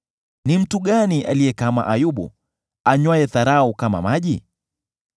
Ni mtu gani aliye kama Ayubu, anywaye dharau kama maji?